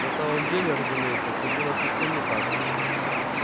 на самом деле разумеется всё было совсем не так